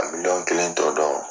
a kelen t'p dɔn